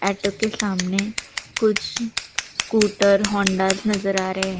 auto के सामने कुछ स्कूटर होंडास नज़र आ रहे --